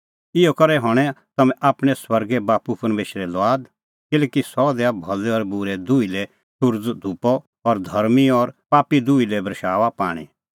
इहअ करै हणैं तम्हैं आपणैं स्वर्गे बाप्पू परमेशरे लुआद किल्हैकि सह दैआ भलै और बूरै दुही लै सुरज़ो धुपअ और धर्मीं और पापी दुही लै बरशाऊआ पाणीं